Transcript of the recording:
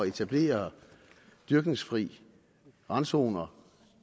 etablere dyrkningsfri randzoner